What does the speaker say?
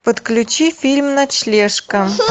подключи фильм ночлежка